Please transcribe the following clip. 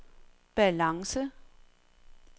balance